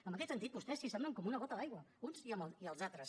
en aquest sentit vostès s’assemblen com una gota d’aigua uns i els altres